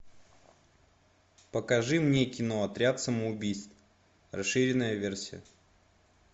покажи мне кино отряд самоубийц расширенная версия